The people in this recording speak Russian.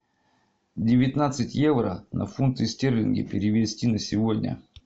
девятнадцать евро на фунты стерлинги перевести на сегодня